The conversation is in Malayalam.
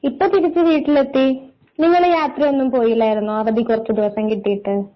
ഇപ്പൊ തിരിച്ച് വീട്ടിലെത്തി നിങ്ങൾ യാത്രയൊന്നും പോയില്ലാരുന്നോ അവധി കുറച്ചു ദിവസം കിട്ടിയിട്ട്.